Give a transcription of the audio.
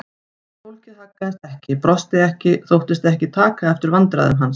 En fólkið haggaðist ekki, brosti ekki, þóttist ekki taka eftir vandræðum hans.